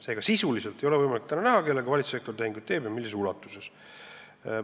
Seega, sisuliselt ei ole võimalik näha, kellega ja millises ulatuses valitsussektor tehinguid teeb.